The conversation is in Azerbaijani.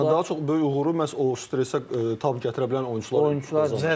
Yəni daha çox böyük uğuru məhz o stresə tab gətirə bilən oyunçular əldə qazanırlar.